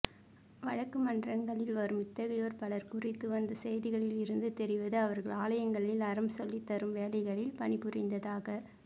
வழக்குமன்றங்களில் வரும் இத்தகையோர் பலர் குறித்து வந்த செய்திகளில் இருந்து தெரிவது அவர்கள் ஆலயங்களில் அறம் சொல்லித்தரும் வேலைகளில் பணிபுரிந்ததாக